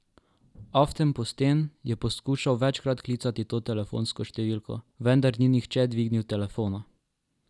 Aftenposten je poskušal večkrat klicati to telefonsko številko, vendar ni nihče dvignil telefona.